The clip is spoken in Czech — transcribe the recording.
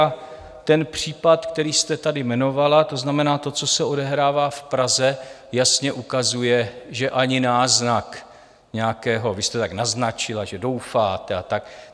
A ten případ, který jste tady jmenovala, to znamená to, co se odehrává v Praze, jasně ukazuje, že ani náznak nějakého, vy jste tak naznačila, že doufáte a tak.